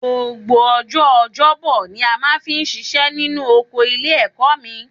Gbogbo ọjọ́ ọjọ́bọ ni a máa fi ń ṣiṣẹ́ nínú oko ilé-ẹ̀kọ́ mi